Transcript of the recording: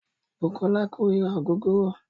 Bùkọ́lá kórira ògógóró.